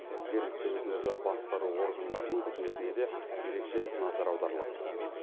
жергілікті өзін өзі басқару органдарының қызметіне де ерекше назар аударылады